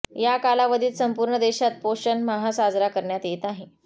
या कालावधीत संपूर्ण देशात पोषण माह साजरा करण्यात येत आहे